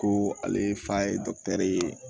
Ko ale fa ye ye